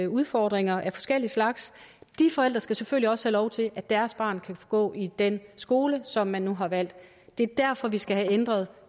udfordringer af forskellig slags de forældre skal selvfølgelig også have lov til at deres barn kan gå i den skole som man nu har valgt det er derfor vi skal have ændret